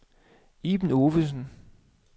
Iben Ovesen